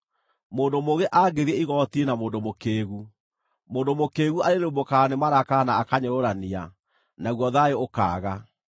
Mũndũ mũũgĩ angĩthiĩ igooti-inĩ na mũndũ mũkĩĩgu, mũndũ mũkĩĩgu arĩrĩmbũkaga nĩ marakara na akanyũrũrania, naguo thayũ ũkaaga.